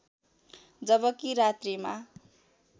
जबकि रात्रिमा